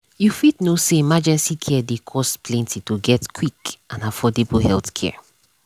you fit know say emergency care dey cost plenty to get quick and affordable healthcare.